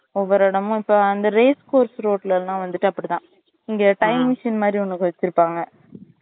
ஒவ்வொரு இடமும் இப்ப அந்த race course road ல லாம் வந்துட்டு அப்டித்தான் இங்க time machine மாறி ஒன்னு வச்சிருபாங்க